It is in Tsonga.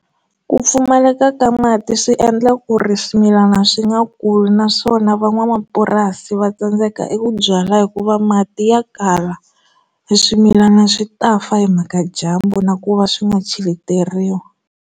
Ku pfumaleka ka mati swi endla ku ri swimilana swi nga kuli naswona van'wamapurasi va tsandzeka eku byala hikuva mati ya kala hi swimilana swi ta fa hi mhaka dyambu na ku va swi nga cheleteriwa.